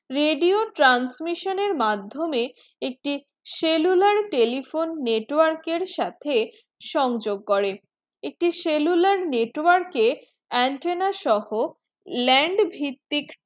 radio transmission এর মাধ্যমেই একটি cellular telephone network এর সাথে সংযো করেন একটি cellular network এ antenna সোহো land ভিত্তিক